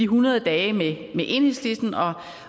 hundrede dage med enhedslisten